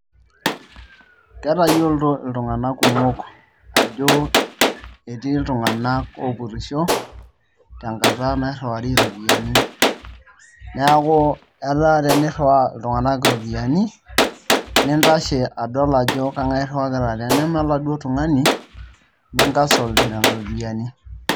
Ketayioloito oltung'anak kuumok ajo ketii iltung'anak oopurrisho tenkata nairriwari iropiyiani, neeku eetaa tenirriwaa iltung'anak iropiyiani nintashe adol ajo kang'ae irriwakita, teneme oladuo tung'ani ni cancle nena ropiyiani.